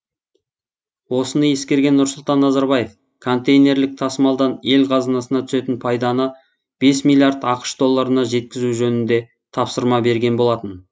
осыны ескерген нұрсұлтан назарбаев контейнерлік тасымалдан ел қазынасына түсетін пайданы бес миллиард ақш долларына жеткізу жөнінде тапсырма берген болатын